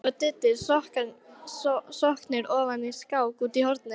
Berti og Diddi sokknir ofan í skák úti í horni.